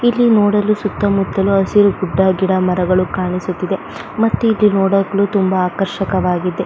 ಇಲ್ಲಿ ನೋಡಲು ಸುತ್ತ ಮುತ್ತಲು ಹಸಿರು ಗುಡ್ಡ ಗಿಡ ಮರಗಳು ಕಾಣಿಸುತ್ತಿದೆ ಮತ್ತೆ ಇದು ನೋಡಲು ತುಂಬ ಆಕರ್ಷಕವಾಗಿದೆ.